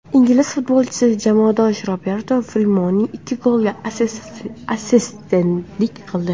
Ingliz futbolchisi jamoadoshi Roberto Firminoning ikki goliga assistentlik qildi.